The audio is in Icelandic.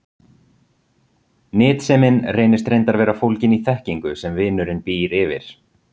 Nytsemin reynist reyndar vera fólgin í þekkingu sem vinurinn býr yfir.